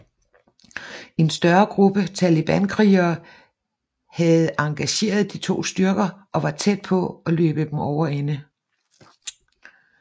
En større gruppe Talibankrigere havde engageret de to styrker og var tæt på at løbe dem over ende